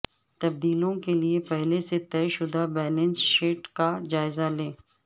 تبدیلیوں کے لئے پہلے سے طے شدہ بیلنس شیٹ کا جائزہ لیں